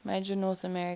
major north american